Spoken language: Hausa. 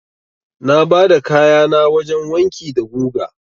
Na bada kayana wajen wanki da guga.